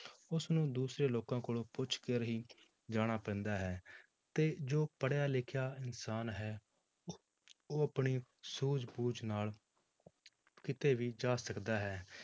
ਉਸਨੂੰ ਦੂਸਰੇ ਲੋਕਾਂ ਕੋਲੋਂ ਪੁੱਛ ਕਰ ਹੀ ਜਾਣਾ ਪੈਂਦਾ ਹੈ ਅਤੇ ਜੋ ਪੜ੍ਹਿਆ ਲਿਖਿਆ ਇਨਸਾਨ ਹੈ ਉਹ ਆਪਣੀ ਸੂਝ ਬੂਝ ਨਾਲ ਕਿਤੇ ਵੀ ਜਾ ਸਕਦਾ ਹੈ